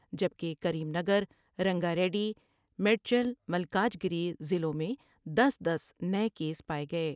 جبکہ Karimnagar, Rangareddy, Medchal Malkajgiri ضلعوں میں دس دس نئے کیس پاۓ گئے